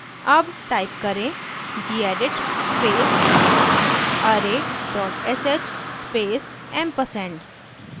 अब type करें: gedit space array sh space & ampersand